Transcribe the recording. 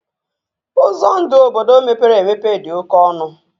Ụzọ ndụ obodo mepere emepe dị oke ọnụ